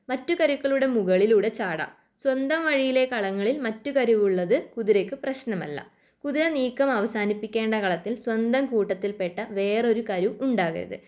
മറ്റു കരുക്കളുടെ മുകളിലൂടെ ചാടാം സ്വന്തം വഴിയിലെ കളങ്ങളിൽ മറ്റു കരുവുള്ളത് കുതിരയ്ക്ക് പ്രശ്നമല്ല. കുതിര നീക്കം അവസാനിപ്പിക്കേണ്ട കളത്തിൽ സ്വന്തം കൂട്ടത്തിൽ പെട്ട വേറൊരു കരു ഉണ്ടാകരുത്.